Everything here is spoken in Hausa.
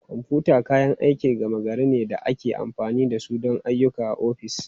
Kwamfuta kayan aikin gama gari ne da ake amfani da su don ayyuka a ofis.